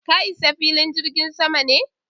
ka Isa filin jirgin sama ne?